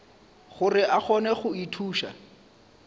gore a kgone go ithuša